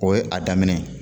O ye a daminɛ ye